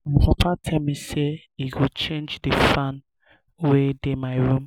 my papa tell me say he go change the fan wey dey my room